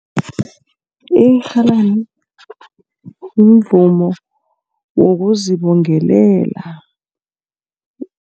Irhalani mvumo wokuzibongelela.